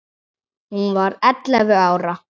Hún var ellefu ára.